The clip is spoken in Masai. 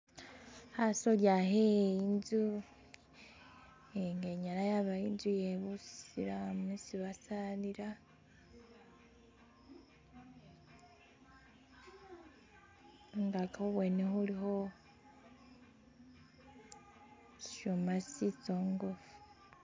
khasolya khe inztu inyala yaba inztu iyebasilamu isi basalila khungaki khubwene khulikho sisyuma sisongofu.